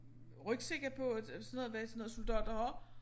Rygsække på og sådan noget hvad sådan nogle soldater har